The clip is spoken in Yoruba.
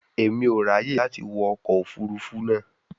Emi o raye lati wọ ọkọ ofurufu naa